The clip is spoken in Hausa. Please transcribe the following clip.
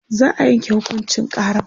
za'a Yanke hukuncin karan